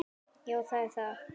Já, það er það.